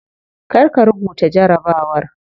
Kar ka rubuta jarabawar.